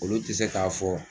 Olu tɛ se k'a fɔ